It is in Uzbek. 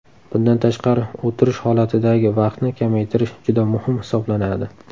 Bundan tashqari, o‘tirish holatidagi vaqtni kamaytirish juda muhim hisoblanadi.